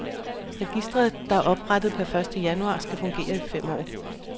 Registret, der er oprettet per første januar, skal fungere i fem år.